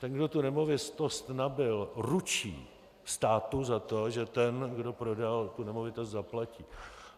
Ten, kdo tu nemovitost nabyl, ručí státu za to, že ten, kdo prodal tu nemovitost, zaplatí.